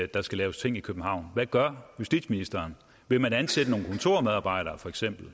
der skal laves ting i københavn hvad gør justitsministeren vil man for eksempel